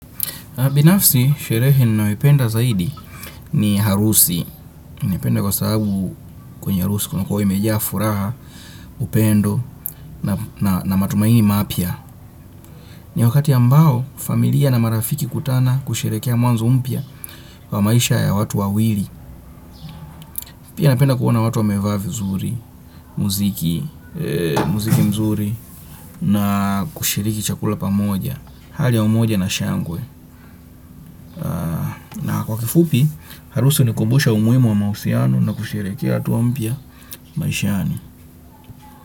Binafsi, sherehe ninayoipenda zaidi ni harusi. Naipenda kwa sababu kwenye harusi kunakuwa imejaa furaha, upendo na matumaini mapya. Ni wakati ambao, familia na marafiki hukutana kusherehekea mwanzo mpya kwa maisha ya watu wawili. Pia napenda kuona watu wamevaa vizuri, muziki, muziki mzuri na kushiriki chakula pamoja. Hali ya umoja na shangwe. Kwa kifupi, harusu hunikumbusha umuhimu wa mahusiano na kusheherekea hatua mpya maishani.